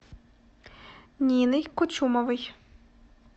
ниной кучумовой